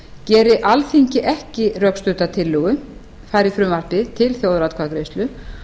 geri alþingi ekki rökstudda tillögu fari frumvarpið til þjóðaratkvæðagreiðslu